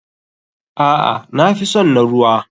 Aa nafison na ruwa.